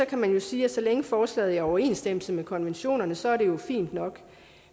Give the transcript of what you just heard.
kan man jo sige at så længe forslaget er i overensstemmelse med konventionerne så er det fint nok